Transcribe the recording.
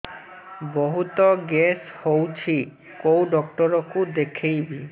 ବହୁତ ଗ୍ୟାସ ହଉଛି କୋଉ ଡକ୍ଟର କୁ ଦେଖେଇବି